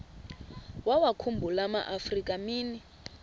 wawakhumbul amaafrika mini